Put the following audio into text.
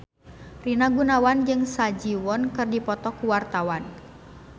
Rina Gunawan jeung Ha Ji Won keur dipoto ku wartawan